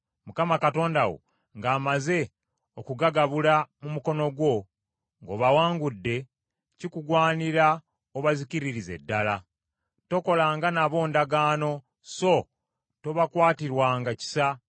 Mukama Katonda wo ng’amaze okugagabula mu mukono gwo, ng’obawangudde, kikugwanira obazikiririze ddala. Tokolanga nabo ndagaano, so tobakwatirwanga kisa.